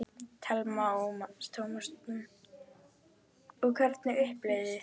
Telma Tómasson: Og hvernig upplifðuð þið þetta?